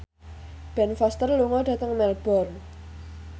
Ben Foster lunga dhateng Melbourne